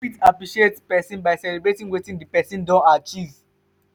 you fit appreciate person by celebrating wetin di person don achieve